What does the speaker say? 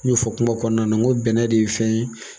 N y'o fɔ kuma kɔnɔna na n ko bɛnɛ de ye fɛn ye